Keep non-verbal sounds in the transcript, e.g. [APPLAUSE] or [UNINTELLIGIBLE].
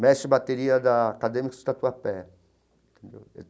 mestre de bateria da Acadêmica [UNINTELLIGIBLE] entendeu.